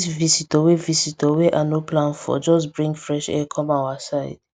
this visitor wey visitor wey ah no plan for just bring fresh air come our side